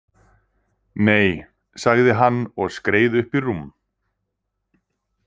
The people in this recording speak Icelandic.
Nei, sagði hann og skreið upp í rúm.